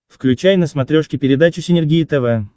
включай на смотрешке передачу синергия тв